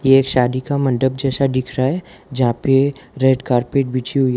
ये शादी का मंडप जैसा दिख रहा है जहां पे रेड कारपेट बिछी हुई है।